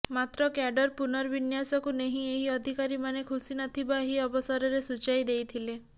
ମାତ୍ର କ୍ୟାଡର୍ ପୁନର୍ବିନ୍ୟାସକୁ ନେଇ ଏହି ଅଧିକାରୀମାନେ ଖୁସି ନଥିବା ଏହି ଅବସରରେ ସୂଚାଇ ଦେଇଥିଲେ